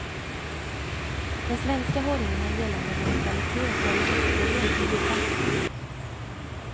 Den svenska hållningen gällande neutralitet och alliansfrihet ligger fast.